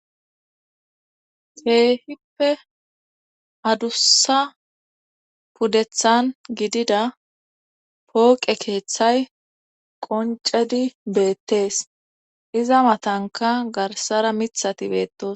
Keehippe adussa puddethan gidida pooqe keeththay qoncedi beettees iza matanka garsara mithati beettos.